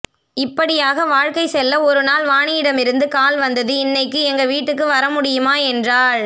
இப்படியாக வாழ்க்கை செல்ல ஒருநாள் வாணியிடமிருந்து கால் வந்தது இன்னைக்கி எங்க வீட்டுக்கு வரமுடியுமா என்றாள்